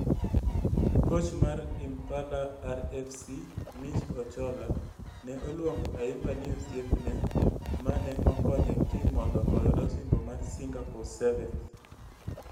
Koch mar Impala RFC Mitch Ocholla ne oluongo Ayimba ni osiepne ma ne okonyo tim mondo oyud osimbo mar Singapore Sevens.